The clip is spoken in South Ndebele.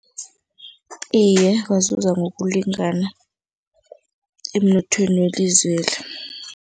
Iye, bazuza ngokulingana emnothweni welizweli.